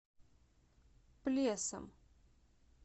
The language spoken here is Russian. плесом